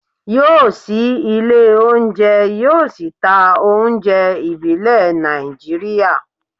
yóò ṣí ilé oúnjẹ, yóò sì ta oúnjẹ ìbílẹ̀ Nàìjíríà